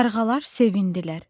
Qarğalar sevindilər.